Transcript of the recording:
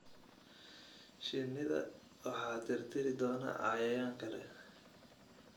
Shinnida waxa tirtiri doona cayayaan kale.